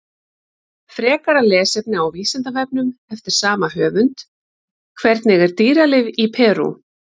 Frekara lesefni á Vísindavefnum eftir sama höfund: Hvernig er dýralíf í Perú?